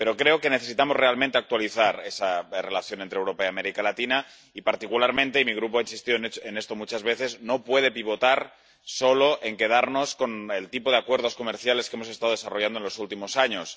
Pero creo que necesitamos realmente actualizar esa relación entre Europa y América Latina y, particularmente —y mi Grupo insistió en esto muchas veces—, no puede pivotar solo en quedarnos con el tipo de acuerdos comerciales que hemos estado desarrollando en los últimos años.